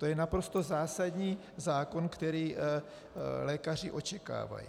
To je naprosto zásadní zákon, který lékaři očekávají.